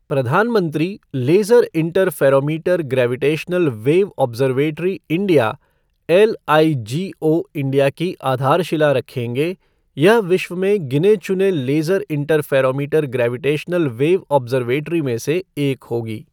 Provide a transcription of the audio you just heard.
प्रधानमंत्री laser interferometer gravitational wave observatory India LIGO India की आधारशिला रखेंगे, यह विश्व में गिने चुने laser interferometer gravitational wave observatory में से एक होगी।